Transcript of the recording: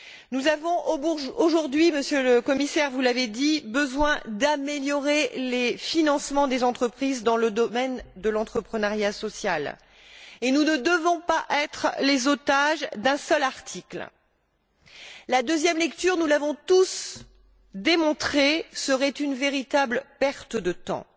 Nous avons aujourd'hui besoin, Monsieur le Commissaire, vous l'avez dit, d'améliorer les financements des entreprises dans le domaine de l'entrepreneuriat social, et nous ne devons pas être les otages d'un seul article. La deuxième lecture, nous l'avons tous démontré, serait une véritable perte de temps.